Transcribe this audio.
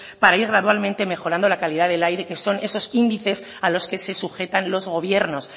para ir gradualmente mejorando la calidad del aire que son esos índices a los que se sujetan los gobiernos